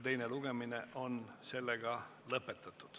Teine lugemine on lõpetatud.